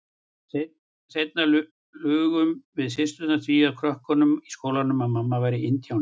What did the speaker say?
Seinna lugum við systurnar því að krökkunum í skólanum að mamma væri indíáni.